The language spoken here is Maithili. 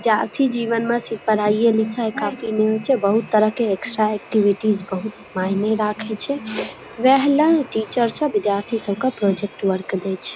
जाती जीवन में सिर्फ पढाई ये लिखाई काफी नै होए छे बहुत तरह के एक्स्ट्रा एक्टिविटी बहुत मायने रखे छे। वहे ला टीचर सब बिद्यार्थी सब के प्रोजेक्ट वर्क देइ छे।